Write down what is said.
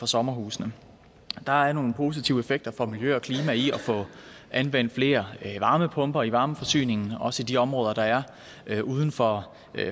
sommerhusene der er nogle positive effekter for miljø og klima i at få anvendt flere varmepumper i varmeforsyningen også i de områder der er uden for